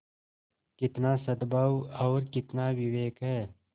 कितना सदभाव और कितना विवेक है